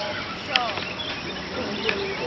nsovo